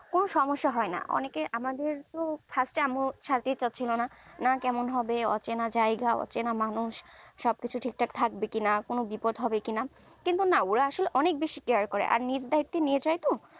কোনো সমস্যা হয়না অনেকে আমাদের তো first এ আম্মু ছাড়তে চাইছিলনা না কেমন হবে অচেনা জায়গা অচেনা মানুষ সব কিছু ঠিকঠাক থাকবে কিনা কোনো বিপদ হবে কিনা কিন্তু না আসলে care বেশি কেয়ার করে আর নিজের দায়িত্বে নিয়ে যাই তো